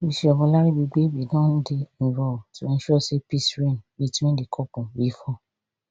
bishop olaribigbe bin don dey involved to ensure say peace reign between di couple bifor